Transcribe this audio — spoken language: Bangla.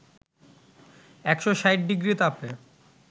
১৬০ ডিগ্রি তাপে